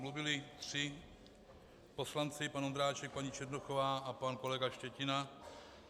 Mluvili tři poslanci, pan Ondráček, paní Černochová a pan kolega Štětina.